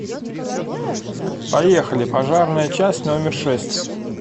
поехали пожарная часть номер шесть